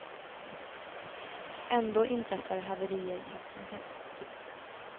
Ändå inträffar haverier titt som tätt.